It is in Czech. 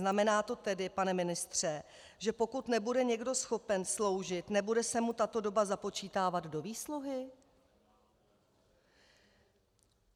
Znamená to tedy, pane ministře, že pokud nebude někdo schopen sloužit, nebude se mu tato doba započítávat do výsluhy?